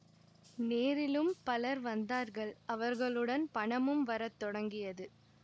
நேரிலும் பலர் வந்தார்கள் அவர்களுடன் பணமும் வர தொடங்கியது